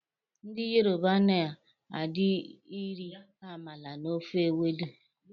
Ndị Yoruba na di iri amala na ofe ewedu